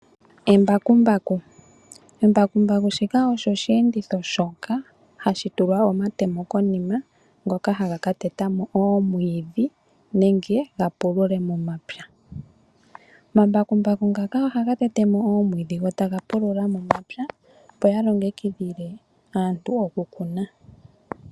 Embakumbaku, embakumbaku shika osho osheenditho shoka hashi tulwa omatemo konima ngoka haga ka teta mo omwiidhi nenge ga pulule momapya. Omambakumbaku ngaka ohaga tete mo omwiidhi go taga pulula momapya opo yalongekidhile aantu oku kuna.